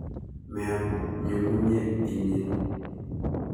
Meam ny'ung'unyat inye.